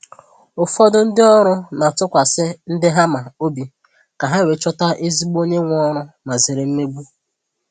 Ụfọdụ ndị ọrụ na-atụkwasị ndi ha ma obi ka ha wee chọta ezigbo onye nwe oru ma zere mmegbu